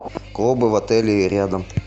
клубы в отеле и рядом